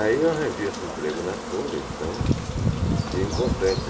Aí eu arranjei esse emprego na Folha, então fiquei importante.